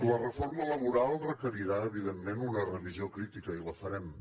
la reforma laboral requerirà evidentment una revisió crítica i la farem